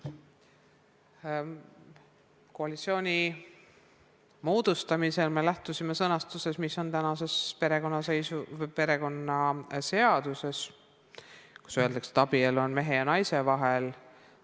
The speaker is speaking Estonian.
Koalitsiooni moodustamisel me lähtusime sõnastusest, mis on tänases perekonnaseaduses ja mis ütleb, et abielu on mehe ja naise vahel.